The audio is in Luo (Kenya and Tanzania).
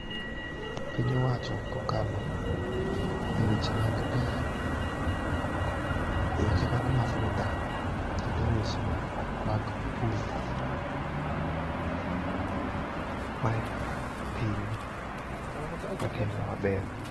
Piny owacho kokalo e weche mag pi, e weche mag mafuta kata e weswe mag pur, mae piny matimo maber.